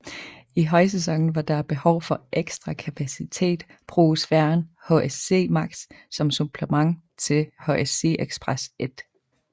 I højsæsonen hvor der er behov for ekstra kapacitet bruges færgen HSC Max som supplement til HSC Express 1